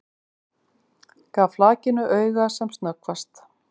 Gaf flakinu auga sem snöggvast.